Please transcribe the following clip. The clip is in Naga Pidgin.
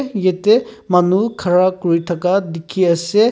yete manu khara kuri thaka dikhi ase.